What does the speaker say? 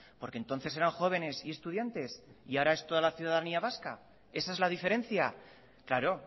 porque entonces eran jóvenes y estudiantes y ahora es todo la ciudadanía vasca esa es la diferencia claro